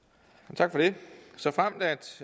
tak så